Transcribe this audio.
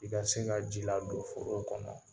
I ka se ka ji ladon forow kɔnɔ.